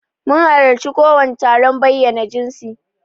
Mun halarci wani taron bayyana jinsi.